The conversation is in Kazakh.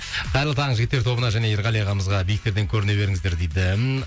қайырлы таң жігіттер тобына және ерғали ағамызға биіктерден көріне беріңіздер дейді